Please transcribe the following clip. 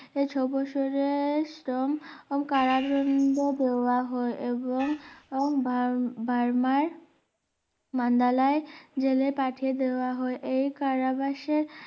ছয় বছরের কম কারাদণ্ড দেওয়া হয় এবং বার~বার্মার মান্ডালায় জেলে পাঠিয়ে দেওয়া হয় এই কারাবাসে